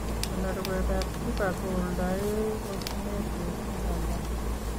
"Konorwetab Kruger ko oldo yee osneet missing,"kamwa